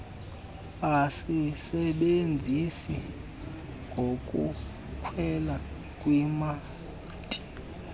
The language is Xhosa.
asisebenzise ngokukhwela kwimasti